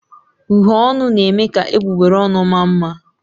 Uhie ọnụ na-eme ka egbugbere ọnụ maa mma.